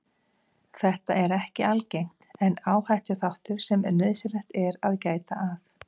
Þetta er ekki algengt en áhættuþáttur sem nauðsynlegt er að gæta að.